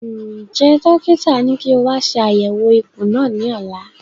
Njẹ dókítà ní kí o wa ṣe àyẹwò ikùn náà ní ọ̀la?